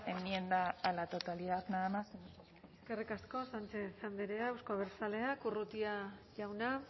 enmienda a la totalidad nada más eskerrik asko sánchez andrea euzko abertzaleak urrutia jauna